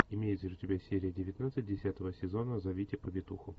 имеется ли у тебя серия девятнадцать десятого сезона зовите повитуху